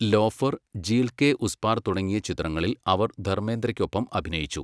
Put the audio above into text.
Loafer, Jheel Ke Us Paar തുടങ്ങിയ ചിത്രങ്ങളിൽ അവർ ധർമേന്ദ്രയ്ക്കൊപ്പം അഭിനയിച്ചു.